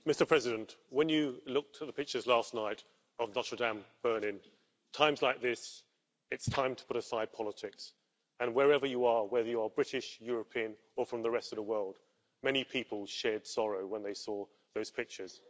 Mr President, when you look at the pictures last night of Notre Dame burning, in times like this it's time to put aside politics and wherever you are, whether you are British, European or from the rest of the world, many people shared sorrow when they saw those pictures.